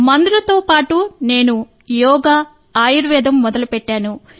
మందులతో పాటు నేను యోగా ఆయుర్వేదం మొదలుపెట్టాను